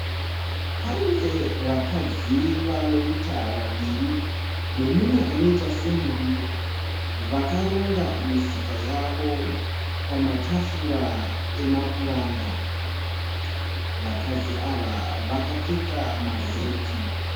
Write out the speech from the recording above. Pane vakadzi vanoita vaviri neumwe anoita semurume. Vakaronga misika yavo pamatafura emapuranga. Vakadzi ava vakapfeka maheti.